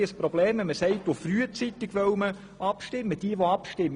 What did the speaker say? Aber wenn man sagt, man wolle frühzeitig abstimmen, gibt es ein Problem.